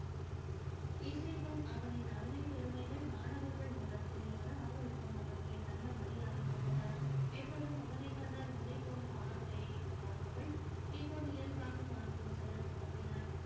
இசைக்கும் அவனின் அருமை பெருமைகள் மாணவர்கள் மூலம் தெரியவர ஆவலுக்கும் அவன் மேல் நல்ல மரியாதை வந்தது எப்போதும் அவன கண்டால் முறைக்கும் பார்வையை பார்ப்பவள் இயல்பாக பார்த்து செல்ல துவங்கினாள்